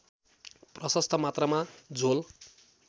प्रशस्त मात्रामा झोल